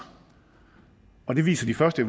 og det viser de første